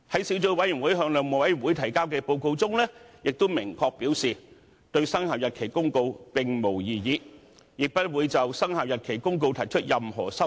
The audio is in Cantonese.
小組委員會在其向內務委員會提交的報告中明確表示，對《公告》並無異議，亦不會就《公告》提出任何修訂。